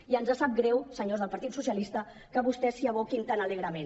i ens sap greu senyors del partit socialista que vostès s’hi aboquin tan alegrement